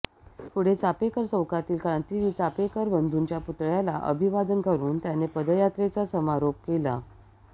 पुढे चापेकर चौकातील क्रांतीवीर चापेकर बंधूंच्या पुतळ्याला अभिवादन करून त्यांनी पदयात्रेचा समारोप केला